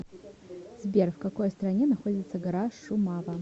сбер в какой стране находится гора шумава